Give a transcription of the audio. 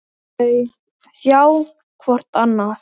Þau sjá hvort annað.